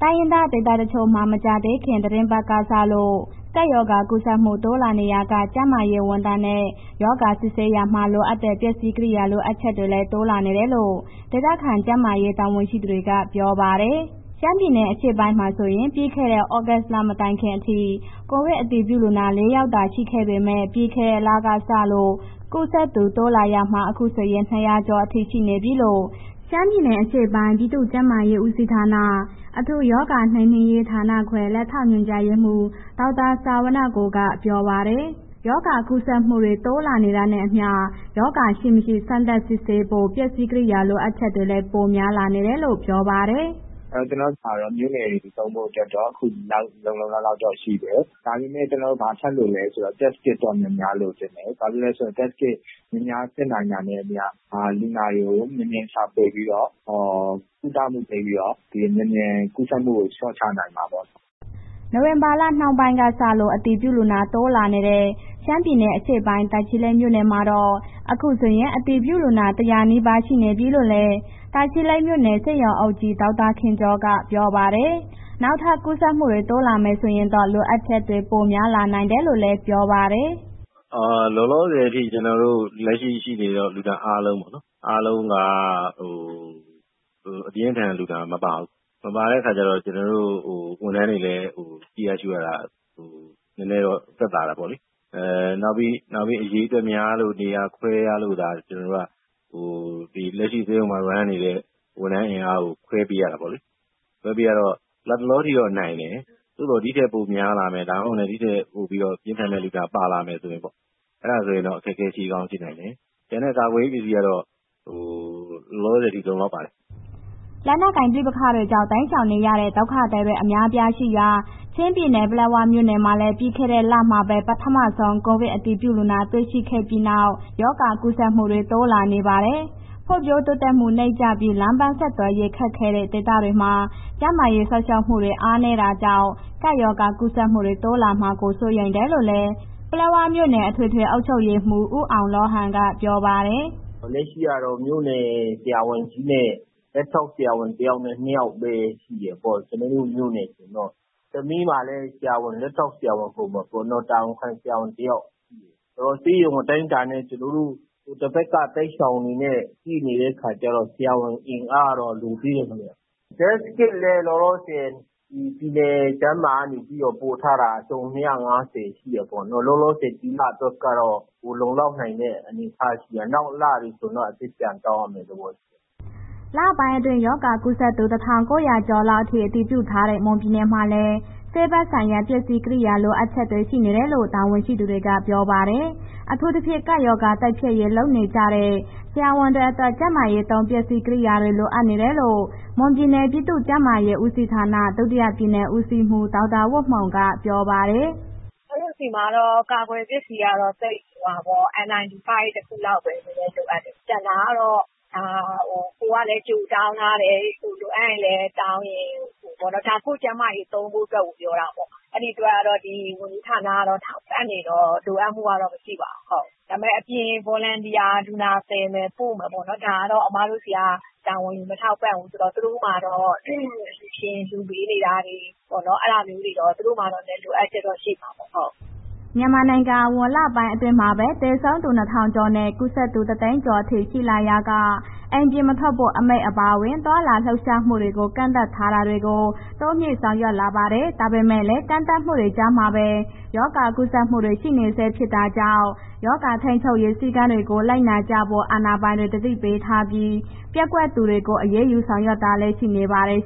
အဂ္ဂနွန်က သတင်းပေးပို့ထားပါတယ်။ တိုင်းရင်းသား ဒေသတချို့မှာ မကြာသေးခင် သီတင်းပတ်တွေက စလို့ ကပ်ရောဂါကူးစက်မှုတွေ တိုးလာနေရာက ကျန်းမာရေးဝန်ထမ်းနဲ့ ရောဂါစစ်ဆေးရာမှာ လိုအပ်တဲ့ပစ္စည်းကရိယာ လိုအပ်ချက်တွေလည်း တိုးလာနေတယ်လို့ ဒေသခံ ကျန်းမာရေးတာဝန်ရှိသူတွေက ပြောပါတယ်။ ရှမ်းပြည်နယ် အရှေ့ပိုင်းမှာဆိုရင် ပြီးခဲ့တဲ့ သြဂုတ်လ မတိုင်ခင်အထိ ကိုဗစ်အတည်ပြုလူနာ ၄ ယောက်သာ ရှိခဲ့ပေမဲ့ ပြီးခဲ့တဲ့လကစလို့ ကူးစက်သူ တိုးလာရာမှာ အခုဆိုရင် ၂၀၀ ကျော်အထိ ရှိနေပြီလို့ ရှမ်းပြည်နယ် အရှေ့ပိုင်း ပြည်သူ့ကျန်းမာရေးဦးစီးဌာန အထူးရောဂါနှိမ်နင်းရေးဌာနခွဲ လက်ထောက်ညွှန်ကြားရေးမှူး ဒေါက်တာဇဝနကို ကပြောပါတယ်။ ရောဂါကူးစက်မှုတွေ တိုးလာနေတာနဲ့အမျှ ရောဂါရှိ၊ မရှိ စမ်းသပ်စစ်ဆေးဖို့ ပစ္စည်းကရိယာ လိုအပ်ချက်တွေလည်း ပိုများလာနေတယ်လို့ ပြောပါတယ်။ “ကျနော်တို့မှာ မြို့နယ်သုံးဖို့အတွက်တော့ အခုလုံလုံလောက်လောက်တော့ ရှိတယ်။ ဒါပေမဲ့ ကျနော်တို့ ဘာဆက်လိုတာလဲဆိုတော့ Test Kit တော့ များများလိုချင်တယ်။ ဘာဖြစ်လဲဆိုတော့ Test Kit များများစစ်နိုင်တာနဲ့အမျှ လူနာတွေကို မြန်မြန်ရှာဖွေပြီးတော့ ကုသမှုပေးပြီးတော့ မြန်မြန်ကူးစက်မှုကို လျှော့ချနိုင်မှာပေါ့နော်။” နိုဝင်ဘာလနှောင်းပိုင်းကစလို့ အတည်ပြုလူနာတိုးလာတဲ့ ရှမ်းပြည်နယ်အရှေ့ပိုင်း တာချီလိတ်မြို့နယ်မှာတော့ အခုဆိုရင် အတည်ပြုလူနာ ၁၀၀ နီးပါးရှိနေပြီလို့လည်း တာချီလိတ်မြို့နယ် ဆေးရုံးအုပ်ကြီး ဒေါက်တာခင်ကျော်က ပြောပါတယ်။ နောက်ထပ် ကူးစက်မှုတွေ တိုးလာမယ် ဆိုရင်တော့ လိုအပ်ချက်တွေ ပိုများလာနိုင်တယ်လို့လည်း ပြောပါတယ်။ “လောလောဆယ်အထိ လက်ရှိ ရှိနေတဲ့ လူနာအားလုံးပေါ့နော်။ အားလုံးက ပြင်းထန်လူနာ မပါဘူး။ မပါတဲ့အခါကျတော့ ကျနော်တို့ ဝန်ထမ်းတွေလည်း ကြည့်ရရှုရတာလည်း နည်းနည်းတော့သက်သာတယ်ပေါ့နော်။ နောက်ပြီး အရေအတွက်များလို့ နေရာခွဲရလို့ရှိရင် လက်ရှိ ဆေးရုံမှာ လည်ပတ်နေတဲ့ ဝန်ထမ်းအင်အားကို ခွဲပေးရတာပေါ့လေ။ ခွဲပေးရတော့ လတ်တလောအထိက နိုင်တယ်။ သို့သော် ဒီထက်ပိုများလာမယ်၊ ဒါမှမဟုတ်လည်း ဒီထက်ပိုပြီး ပြင်းထန်တဲ့ လူနာပါလာမယ်ဆိုရင်ပေါ့... အဲ့ဒါဆိုရင် အခက်အခဲရှိကောင်းရှိနိုင်တယ်။ ကျန်တဲ့ ကာကွယ်ရေးပစ္စည်းက လောလောဆယ်ထိ လုံလောက်ပါတယ်။” လက်နက်ကိုင် ပဋိပက္ခတွေကြောင့် တိမ်းရှောင်နေရတဲ့ ဒုက္ခသည်တွေ အများအပြားရှိရာ ချင်းပြည်နယ် ပလက်ဝမြို့နယ်မှာလည်း ပြီးခဲ့တဲ့လမှာပဲ ပထမဆုံး ကိုဗစ်အတည်ပြုလူနာ တွေ့ရှိခဲ့ပြီးနောက် ရောဂါကူးစက်သူတွေ တိုးလာနေပါတယ်။ ဖွံ့ဖြိုးတိုးတက်မှု နိမ့်ကျပြီး လမ်းပန်းဆက်သွယ်ရေး ခက်ခဲတဲ့ ဒေသမှာ ကျန်းမာရေးစောင့်ရှောက်မှုတွေ အားနည်းတာကြောင့် ကပ်ရောဂါကူးစက်မှုတွေ တိုးလာမှာကို စိုးရိမ်နေရတယ်လို့လည်း ပလက်ဝမြို့နယ် အထွေထွေအုပ်ချုပ်ရေးမှူး ဦးအောင်လောဟန်က ပြောပါတယ်။ “လက်ရှိကတော့ မြို့နယ်ဆရာဝန်ကြီးနဲ့ လက်ထောက်ဆရာဝန် တစ်ယောက်နဲ့ နှစ်ယောက်ပဲ ရှိတယ်ပေါ့။ ကျနော်တို့မြို့နယ်ဆိုရင်တော့၊ ဆမီးမှာလည်း လက်ထောက်ဆရာဝန်၊ တာဝန်ခံဆရာဝန်တစ်ယောက်ရှိတယ်။ ဆေးရုံအတိုင်းတာနဲ့ ကျနော်တို့ တစ်ဘက်က တိုက်ပွဲရှောင်နဲ့ ရှိနေတဲ့အခါကျတော့ ဆရာဝန်အင်အားကတော့ လိုသေးတယ်ခင်ဗျာ။ Test Kit လည်း လောလောဆယ် ပြည်နယ်ကျန်းမာကနေပြီးတော့ ပို့ထားတာ အစုံ ၂၅၀ ရှိတယ်ပေါ့နော်။ လောလောဆယ် ဒီလအတွက်ကတော့ လုံလောက်နိုင်တဲ့ အနေအထားရှိတယ်။ နောက်လတွေဆိုရင်တော့ အသစ်ပြန်တောင်းရမယ့် သဘောရှိတယ်။” လပိုင်းအတွင်း ရောဂါကူးစက်သူ ၁၉၀၀ ကျော်လောက်အထိ အတည်ပြုထားတဲ့ မွန်ပြည်နယ်မှာလည်း ဆေးဘက်ဆိုင်ရာ ပစ္စည်းကရိယာ လိုအပ်ချက်တွေ ရှိနေတယ်လို့ တာဝန်ရှိသူတွေက ပြောပါတယ်။ အထူးသဖြင့် ကပ်ရောဂါ တိုက်ဖျက်ရေးလုပ်နေကြတဲ့ ဆရာဝန်တွေအတွက် ကျန်းမာရေးသုံး ကာကွယ်ရေး ပစ္စည်းတွေ လိုနေတယ်လို့ မွန်ပြည်နယ်ပြည်သူ့ကျန်းမာရေးဦးစီးဌာန ဒုတိယပြည်နယ်ဦးစီးမှူး ဒေါက်တာဝတ်မှုံ က ပြောပါတယ်။ “ကျမတို့ ဆီမှာ N 95 တစ်ခုလောက်ပဲ နည်းနည်းလိုအပ်တယ်။ ကျန်တာကတော့ ကိုယ်ကလည်း ကြိုတောင်းထားတယ်။ လိုအပ်ရင်လည်း တောင်းတယ်ပေါ့နော်။ ဒါကိုယ့်ကျန်းမာရေးဌာန သုံးဖို့အတွက်ကို ပြောတာပေ့ါ။ အဲ့ဒီအတွက် ဝန်ကြီးဌာနက ထောက်ပံ့နေတော့ လိုအပ်မှုကတော့ မရှိပါဘူး။ ဒါပေမဲ့ အပြင် Volunteer လူနာသယ်မယ်၊ ပို့မယ်ပေါ့နော်... ဒါကတော့ အမတို့ဆီက တာဝန်ယူမထောက်ပံ့ဘူးဆိုတော့ သူတု့ိမှာတော့ အလှူရှင် လှူပေးနေတာတွေပေါ့နော်။ အဲ့ဒါမျိုးတွေတော့ သူတို့မှာတော့ လိုအပ်ချက်တော့ရှိမှာပေါ့။” မြန်မာနိုင်ငံအဝန်း လပိုင်းအတွင်းမှာပဲ သေဆုံးသူ ၂,၀၀၀ ကျော်နဲ့ ကူးစက်သူ ၁၀၀,၀၀၀ ကျော်အထိ ရှိလာရာက အိမ်ပြင်မထွက်ဖို့ အမိန့်အပါဝင် သွားလာလှုပ်ရှားမှုတွေကို ကန့်သတ်တာတွေကို တိုးမြှင့်ဆောင်ရွက်လာပါတယ်။ ဒါပေမဲ့လည်း ကန့်သတ်မှုတွေ ကြားမှာပဲ ရောဂါကူးစက်မှုတွေ ရှိနေဆဲ ဖြစ်တာကြောင့် ရောဂါထိန်းချုပ်ရေး စည်းကမ်းတွေကို လိုက်နာကြဖို့ အာဏာပိုင်တွေ သတိပေးထားပြီး ပျက်ကွက်သူတွေကို အရေးယူတာတွေလည်း ရှိနေပါတယ်